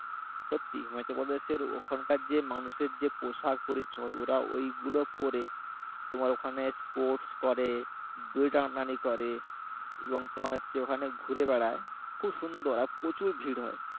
সত্যি তুমি তো বলবে ওখানকার যে মানুষের যে পোশাক পরিচ্ছেদ ওরা ওইগুলো পরে তোমার ওখানে স্পোর্টস করে দড়ি টানাটানি করে এবং তোমার হচ্ছে ওখানে ঘুরে বেড়ায় খুব সুন্দর আর প্রচুর ভীড় হয়